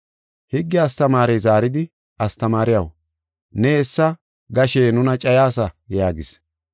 Higge astamaarey zaaridi, “Astamaariyaw, ne hessa gashe nuna cayaasa” yaagis.